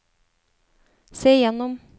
se gjennom